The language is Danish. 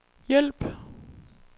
hjælp